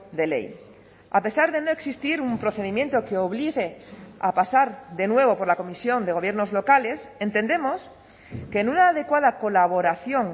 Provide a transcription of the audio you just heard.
de ley a pesar de no existir un procedimiento que obligue a pasar de nuevo por la comisión de gobiernos locales entendemos que en una adecuada colaboración